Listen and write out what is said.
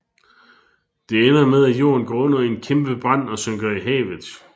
Det ender med at Jorden går under i en kæmpebrand og synker i havet